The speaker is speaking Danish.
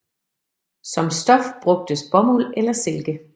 Som stof brugtes bomuld eller silke